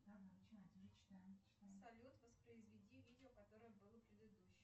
салют воспроизведи видео которое было предыдущим